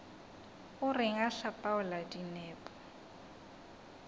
o reng o hlapaola dinepo